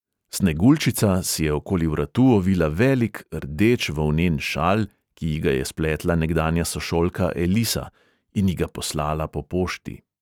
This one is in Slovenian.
Sneguljčica si je okoli vratu ovila velik, rdeč volnen šal, ki ji ga je spletla nekdanja sošolka elisa in ji ga poslala po pošti.